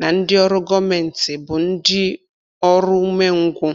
na ndị ọrụ gọmenti bụ ndị oru ume ngwu.